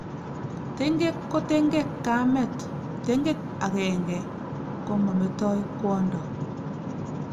tengek ko tengek kamet, tengek agenge komametoi kwondo